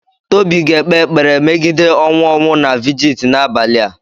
Tobi ga-ekpe ekpere megide ọnwụ ọnwụ na vigit n'abalị a.